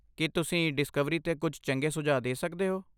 ਕੀ ਤੁਸੀਂ ਡਿਸਕਵਰੀ 'ਤੇ ਕੁਝ ਚੰਗੇ ਸੁਝਾਅ ਦੇ ਸਕਦੇ ਹੋ?